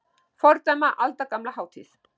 Fordæma aldagamla hátíð